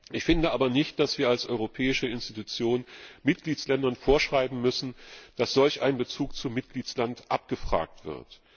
Ich finde aber nicht, dass wir als europäische Institution Mitgliedstaaten vorschreiben müssen, dass solch ein Bezug zum Mitgliedstaat abgefragt wird.